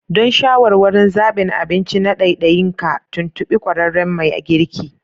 Don shawarwarin zabin abinci na ɗaiɗain ka, tuntuɓi ƙwararren mai girki